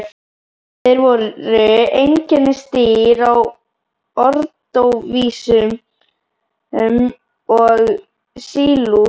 Þeir voru einkennisdýr á ordóvísíum og sílúr.